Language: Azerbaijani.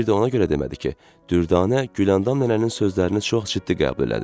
Və bir də ona görə demədi ki, Dürdanə Güləndam nənənin sözlərini çox ciddi qəbul elədi.